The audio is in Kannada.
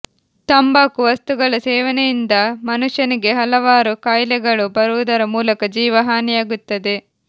ತಂಬಾಕು ವಸ್ತುಗಳ ಸೇವನೆಯಿಂದ ಮನುಷ್ಯನಿಗೆ ಹಲವಾರು ಕಾಯಿಲೆಗಳು ಬರುವುದರ ಮೂಲಕ ಜೀವ ಹಾನಿಯಾಗುತ್ತದೆ